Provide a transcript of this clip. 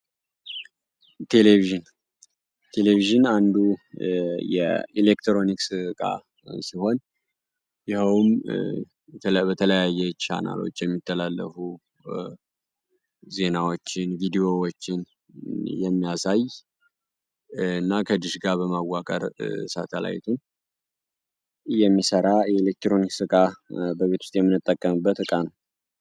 ቴሌቪዥን ቴሌቪዥን አንዱ የኤሌክትሮኒክስ እቃ ሲሆን ይኸውም በተለያየ ቻናሎች የሚተላለፉ ዜናዎችን ቪድዮዎችን የሚያሳይ እና ከድሽጋ በማዋቀር ሳተላይቱን የሚሠራ ኢሌክትሮኒክስ እቃ በቤት ውስጥ የሚነጠቀምበት እቃ ነው።